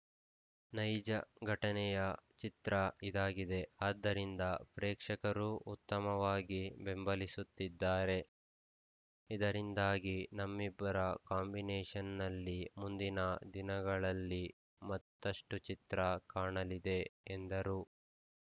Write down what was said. ನೈಜ ಘಟನೆಯ ಚಿತ್ರ ಇದಾಗಿದೆ ಆದ್ದರಿಂದ ಪ್ರೇಕ್ಷಕರೂ ಉತ್ತಮವಾಗಿ ಬೆಂಬಲಿಸುತ್ತಿದ್ದಾರೆ ಇದರಿಂದಾಗಿ ನಮ್ಮಿಬ್ಬರ ಕಾಂಬಿನೇಷನ್‌ನಲ್ಲಿ ಮುಂದಿನ ದಿನಗಳಲ್ಲಿ ಮತ್ತಷ್ಟುಚಿತ್ರ ಕಾಣಲಿದೆ ಎಂದರು